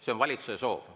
See on valitsuse soov.